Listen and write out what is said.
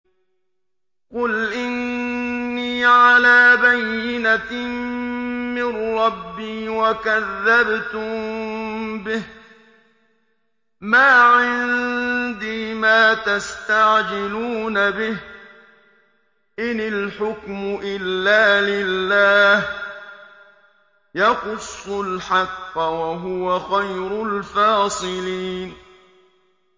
قُلْ إِنِّي عَلَىٰ بَيِّنَةٍ مِّن رَّبِّي وَكَذَّبْتُم بِهِ ۚ مَا عِندِي مَا تَسْتَعْجِلُونَ بِهِ ۚ إِنِ الْحُكْمُ إِلَّا لِلَّهِ ۖ يَقُصُّ الْحَقَّ ۖ وَهُوَ خَيْرُ الْفَاصِلِينَ